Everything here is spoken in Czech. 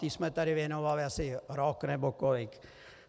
Té jsme tady věnovali asi rok nebo kolik.